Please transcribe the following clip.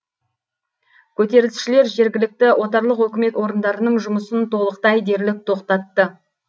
көтерілісшілер жергілікті отарлық өкімет орындарының жұмысын толықтай дерлік тоқтатты